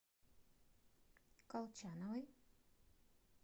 колчановой